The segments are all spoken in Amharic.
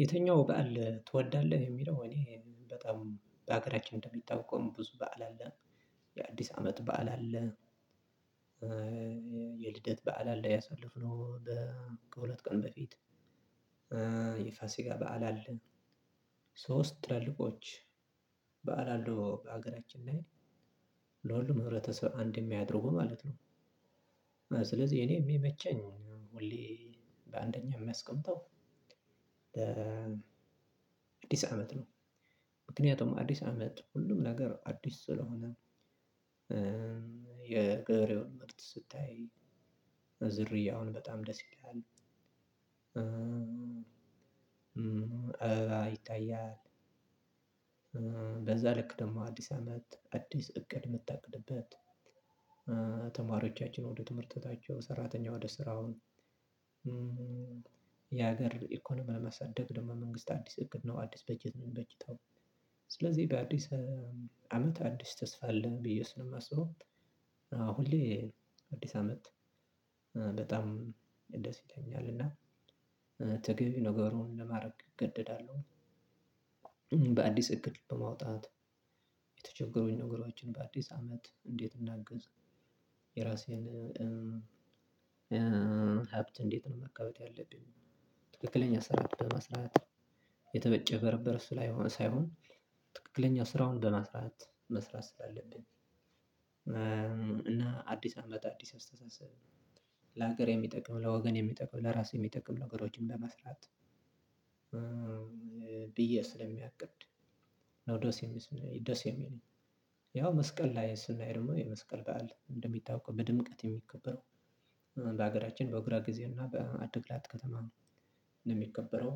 የተኛው በዓል ትወዳለህ የሚለው እኔ በጣም በሀገራችን እንደሚታወቀው ብዙ በዓል አለ የአዲስ አመት በዓል አለ። የልደት በዓል አለ ያሳለፍነው ከሁለት ቀን በፊት። የፋሲካ በዓል አለ። ሶስት ትላልቆች በዓል አለው በሀገራችን ላይ ለሁሉም ህብረተሰብ አንድ የሚያደርጉ ማለት ነው። ስለዚህ እኔ የሚመቸኝ ሁሌ በአንደኛ የማስቀምጠው አዲስ አመት ነው። ምክንያቱም አዲስ አመት ሁሉም ነገር አዲስ ስለሆነ። የገበሬውን ምርት ስታይ ዝርያውን በጣም ደስ ይላል። አበባ ይታያል። በዛ ልክ ደግሞ አዲስ አመት አዲስ እቅድ የምታቅድበት። ተማሪዎቻችን ወደ ትምህርት ቤታቸው ሰራተኛው ወደ ስራው። የሀገር ኢኮኖሚ ለማሳደግ ደግሞ መንግስት አዲስ እቅድ ነው አዲስ በጀት ነው የሚበጅተው። ስለዚህ በአዲስ አመት አዲስ ተስፋ አለ ብዬ ስለማስበው። ሁሌ አዲስ አመት በጣም ደስ ይለኛል። እና ተገቢ ነገሩን ለማድረግ እገደዳለሁ። በአዲስ እቅድ በማውጣት የተቸገሩኝ ነገሮችን በአዲስ አመት እንዴት እናገዝ? የራሴን ሀብት እንዴት ነው ማካበት ያለብኝ? ትክክለኛ ስራ በመስራት የተጭበረበረ እሱ ላይ ሳይሆን ትክክለኛው ስራውን በመስራት መስራት ስላለብን ስላለብኝ። እና አዲስ አመት አዲስ አስተሳሰብ ለሀገር የሚጠቅም ለወገን የሚጠቅም ለራሴ የሚጠቅም ነገሮችን ለመስራት። ብዬ ስለማቅድ ነው ደስ የሚለኝ። ያው መስቀል ላይ ስናይ ደግሞ የመስቀል በዓል እንደሚታወቀው በድምቀት የሚከበረው በሀገራችን በእግራ ጊዜ እና በአዲግራት ከተማ ነው። የሚከበረው።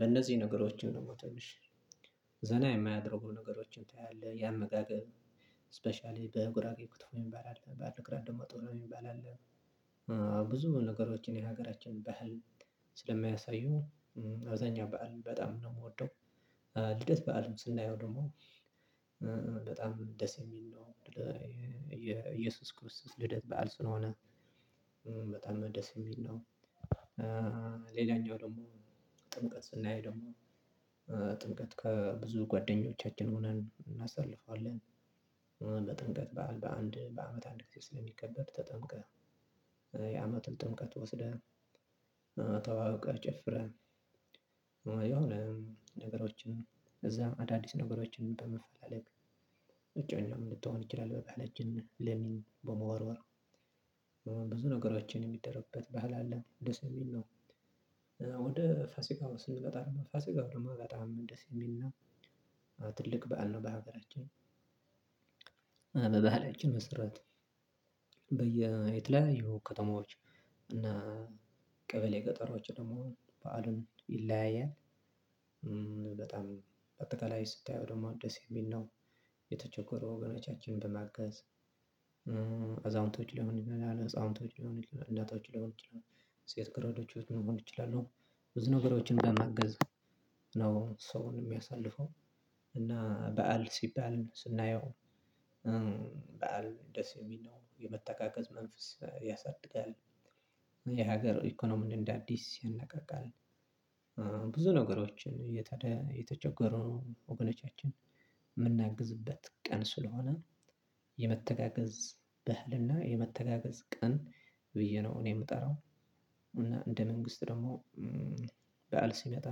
በነዚህ ነገሮችን ነው ትንሽ ዘና የሚያደርጉ ነገሮችን ታያለህ ያመጋገብ ስፔሻሊ በጉራጌ ክትፎ የሚባል አለ። በአዲግራት ደሞ ጥህሌ የሚባል አለ። ብዙ ነገሮችን የሀገራችን ባህል ስለሚያሳዩ አብዛኛው በዓል በጣም ነው የምወደው። ልደት በዓል ስናየው ደግሞ በጣም ደስ የሚል ነው። የኢየሱስ ክርስቶስ ልደት በዓል ስለሆነ በጣም ነው ደስ የሚል ነው። ሌላኛው ደግሞ ጥምቀት ስናይ ደግሞ ጥምቀት ከብዙ ጓደኞቻችን ሆነን እናሳልፋለን። በጥምቀት በዓል በአንድ በአመት አንድ ጊዜ ስለሚከበር ተጠምቀህ የአመቱን ጥምቀት ወስደህ ተዋውቀህ ጨፍረህ የሆነ ነገሮችን እዛም አዳዲስ ነገሮችን በመፈለግ እጮኛም ልትሆን ይችላል በቃል እጅን ሌሚን በመወርወር ብዙ ነገሮችን የሚደረግበት ባህል አለ ደስሚል ነው። ወደ ፋሲካው ስንቀጣ ደግሞ ፋሲካው ደግሞ በጣም ደስ የሚል ነው። ትልቅ በዓል ነው በሀገራችን። በበሃላችን መሰራት የተለያዩ ይሄው ከተማዎች እና ቀበሌ ገጠሮች ደግሞ በዓሉ ይለያያል። በጣም በአጠቃላይ ስታየው ደግሞ ደስ የሚል ነው። የተቸገሩ ወገኖቻችንን በማገዝ አዛውንቶች ሊሆን ይችላል አዛውንቶች ሊሆን ይችላል እናቶችን ሊሆን ይችላል ሴት ገረዶችን ሊሆን ይችላል ብዙ ነገሮችን በማገዝ ነው ሰውን የሚያሳልፈው። እና በዓል ሲባል ስናየው በዓል እንደ ሰሚ ነው የመተጋገዝ መንፈስ ያሳድጋል። የሀገር ኢኮኖሚን እንደ አዲስ ያነቃቃል። ብዙ ነገሮችን የተቸገሩ ወገኖቻችን የምናግዝበት ቀን ስለሆነ የመተጋገዝ በዓልና የመተጋገዝ ቀን ብዬ ነው እኔ የምጠራው። እና እንደ መንግስት ደግሞ በዓል ሲመጣ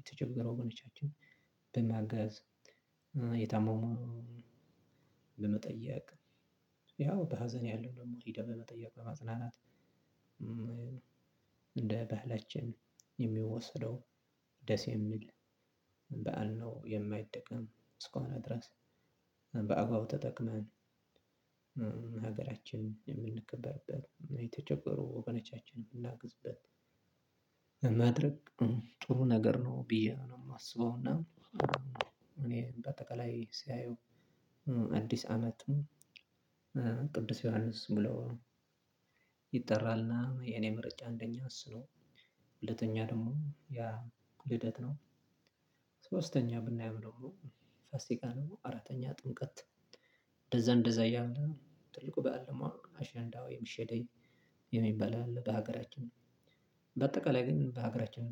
የተቸገሩ ወገኖቻችንን በማገዝ የታመሙ በመጠየቅ ያው በሀዘን ያለው ሄዶ በመጠየቅ በማጽናናት። እንደ ባህላችን የሚወሰደው ደስ የሚል በዓል ነው። የማይጠቅም እስከሆነ ድረስ በአግባቡ ተጠቅመን ሀገራችን የተቸገሩ ወበነቻችንን የምናግዝበት መድረክ ጥሩ ነገር ነው ብዬ ነው የማስበው። እና እኔ በአጠቃላይ ሲያየው አዲስ አመት ቅዱስ ዮሐንስ ሙሉ ይጠራልና የኔ ምርጫ እንደኛ እሱ ነው። ሁለተኛ ደግሞ ያ ልደት ነው። ሶስተኛ ብናይ አምኖሮ ፋሲካ ደግሞ አራተኛ ጥምቀት እንደዛ እንደዛ ያምናል ትልቁ በዓል መሆኑ አሸንዳው የሚሸደይ የሚባል አለ በሀገራችን ነው። በአጠቃላይ ግን በሀገራችን